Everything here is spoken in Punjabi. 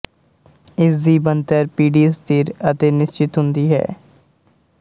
ਇਸ ਦੀ ਬਣਤਰ ਪੀਡੀ ਸਥਿਰ ਅਤੇ ਨਿਸ਼ਚਿਤ ਹੁੰਦੀ ਹੈ